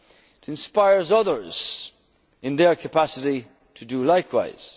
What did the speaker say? work together. It inspires others in their capacity to